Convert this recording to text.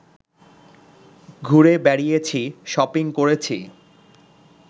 ঘুরে বেড়িয়েছি, শপিং করেছি